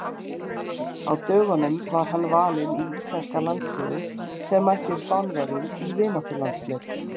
Á dögunum var hann valinn í íslenska landsliðið sem mætti Spánverjum í vináttulandsleik.